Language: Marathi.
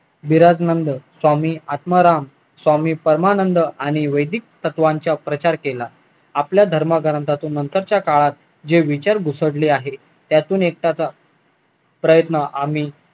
स्वामी आत्माराम स्वामी परमानंद आणि वेदिक तत्वांचा प्रचार केला आपल्या धर्मग्रंथातून नंतरच्या काळात जे विचार घुसडले आहेत त्यातून एकटाचा पर्यत आम्ही